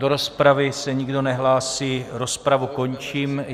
Do rozpravy se nikdo nehlásí, rozpravu končím.